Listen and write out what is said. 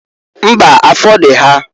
Mbaǃ Afọ dị ha.